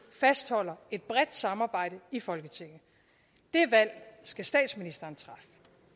fastholder et bredt samarbejde i folketinget det valg skal statsministeren træffe